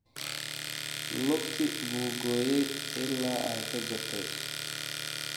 Lugtii buu gooyay ilaa ay ka jabtay